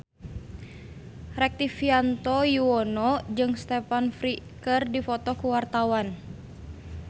Rektivianto Yoewono jeung Stephen Fry keur dipoto ku wartawan